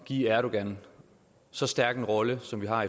give erdogan så stærk en rolle som vi har